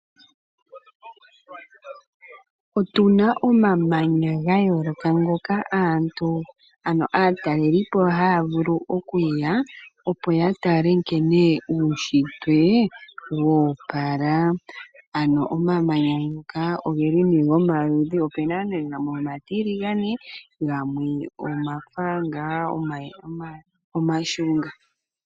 Otu na omamanya ga yooloka ngoka aantu, ano aatalelipo haya vulu oku ya opo ya tale nkene uushitwe woopala. Ano omamanya ngoka ogeli ne omaludhi, opu na ne gamwe omatiligane gamwe ogafa ngaa omashunga.